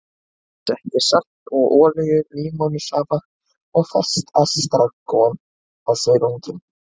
Ég setti salt og olíu, límónusafa og ferskt estragon á silunginn.